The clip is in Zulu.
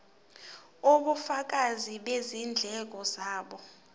ubufakazi bezindleko zabo